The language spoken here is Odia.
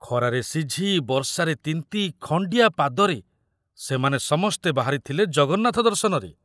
ଖରାରେ ସିଝି, ବର୍ଷାରେ ତିନ୍ତି ଖଣ୍ଡିଆ ପାଦରେ ସେମାନେ ସମସ୍ତେ ବାହାରିଥିଲେ ଜଗନ୍ନାଥ ଦର୍ଶନରେ।